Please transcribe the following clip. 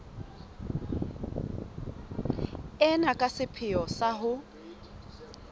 ena ka sepheo sa ho